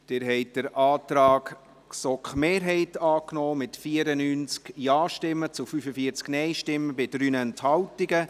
Sie haben den Antrag GSoK-Mehrheit angenommen, mit 94 Ja- gegen 45 Nein-Stimmen bei 3 Enthaltungen.